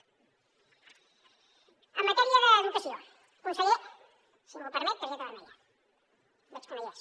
en matèria d’educació conseller si m’ho permet targeta vermella veig que no hi és